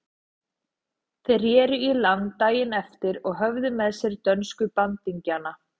Þeir reru í land daginn eftir og höfðu með sér dönsku bandingjana.